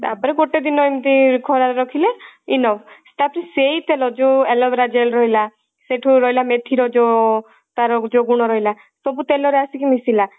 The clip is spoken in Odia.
ତାପରେ ଗୋଟେ ଦିନ ଏମିତି ଖରା ରେ ରଖିଲେ enough ଏଟା ହଉଛି ସେଇ ତେଲ ଯଉ aloe vera gel ରହିଲା ସେଠୁ ରହିଲା ମେଥି ର ଯଉ ତାର ଯଉ ଗୁଣ ରହିଲା ସବୁ ତେଲ ରେ ଆସିକି ମିସିଲା